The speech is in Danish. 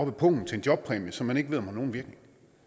af pungen til en jobpræmie som man ikke ved om har nogen virkning